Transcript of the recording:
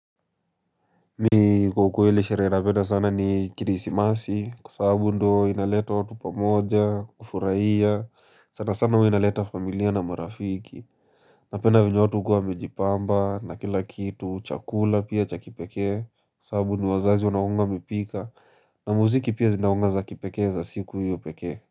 Mimi kwa ukweli sherehe napenda sana ni Krisimasi Kwa sababu ndo inaleta watu pamoja, kufurahia sana sana huwa inaleta familia na marafiki na pend a venye watu hukua wamejipamba na kila kitu chakula pia cha kipekee Kwa sababu ni wazazi wanakua wamepika na muziki pia zinakua za kipekee za siku hiyo peke.